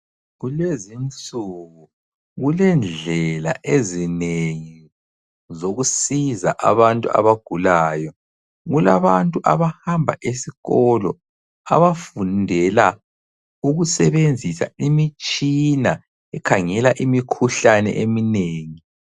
Kulezinsuku kulendlela ezinengi, zokusiza abantu abagulayo. Kulabantu abahamba esikolo, abafundela ukusebenzisa imitshina ekhangela imikhuhlane eminengi.